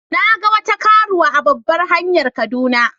Na ga wata karuwa a babbar hanyar kaduna.